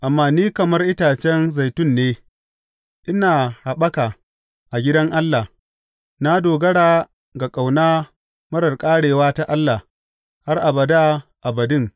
Amma ni kamar itace zaitun ne ina haɓaka a gidan Allah; na dogara ga ƙauna marar ƙarewa ta Allah har abada abadin.